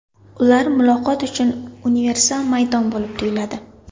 Ular muloqot uchun universal maydon bo‘lib tuyuladi.